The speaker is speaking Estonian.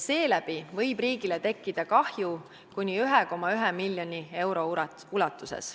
Seeläbi võib riigile tekkida kahju kuni 1,1 miljonit eurot.